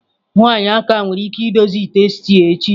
Nwanyị Aka nwere ike idozi ite stew echi.